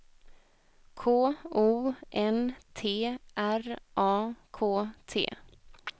K O N T R A K T